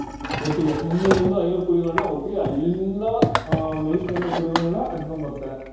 ಒಟ್ಟಿಗೆ ಮುನ್ನೂರಿಂದ ಐನೂರ್ ಕುರಿಗಳನ್ನ ಒಟ್ಟಿಗೆ ಅಲ್ಲಿಂದ ಆಹ್ ಮೇಯಿಸ್ಕೊಂಡು ಕುರಿಗಳನ್ನ ಅಟ್ಕೊಂಡ್ ಬರ್ತಾರೆ.